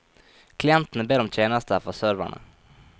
Klientene ber om tjenester fra serverne.